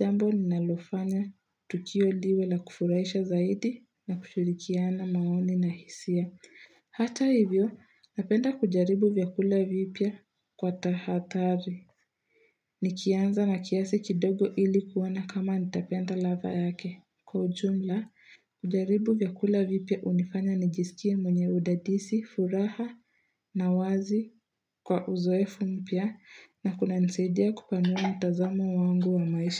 jambo ninalofanya tukio diwe la kufurahisha zaidi na kushirikiana maoni na hisia. Hata hivyo, napenda kujaribu vyakula vipya kwa tahathari. Nikianza na kiasi kidogo ili kuona kama nitapenda ladha yake. Kwa ujumla, kujaribu vyakula vipya hunifanya nijisikie mwenye udadisi, furaha na wazi kwa uzoefu mpya na kunanisaidia kupanua mtazamo wangu wa maisha.